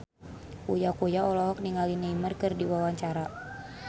Uya Kuya olohok ningali Neymar keur diwawancara